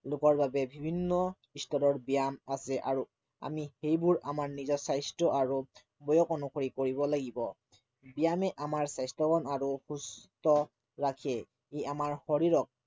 লোকৰ বাবে বিভিন্ন স্তৰৰ বয়ায়াম আছে আৰু আমি সেইবোৰ আমাৰ নিজৰ স্বাস্থ্য় আৰু বয়স অনুসৰি কৰিব লাগিব ব্য়ায়ামে আমাক স্বাস্থ্য়বান আৰু সুস্থ ৰাখে ই আমাৰ শৰীৰক